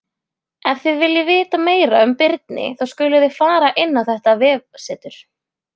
Ef þið viljið vita meira um birni þá skuluð þið fara inn á þetta vefsetur.